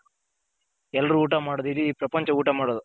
ಎಲ್ರು ಊಟ ಮಾಡೋದು ಇಡಿ ಪ್ರಪಂಚ ಊಟ ಮಾಡೋದು.